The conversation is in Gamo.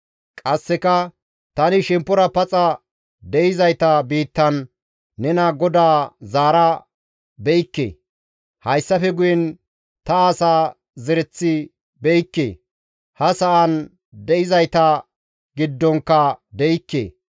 Qasseka, «Tani shemppora paxa de7izayta biittan nena GODAA zaara be7ikke; hayssafe guyen ta asa zereth be7ikke; ha sa7an de7izayta giddonkka de7ikke.